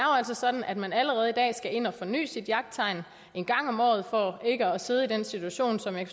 sådan at man allerede i dag skal ind og forny sit jagttegn en gang om året for ikke at sidde i den situation som jeg